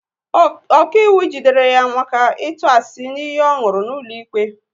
Ọkaiwu jidere ya maka ịtụ asị n'iyi ọ nwụrụ n'ụlọikpe